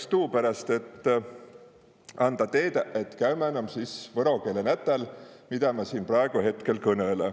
Iks tuu peräst, et anda teedä, et käümän om võro keele nätäl, midä ma siin praegu hetkel kõnele.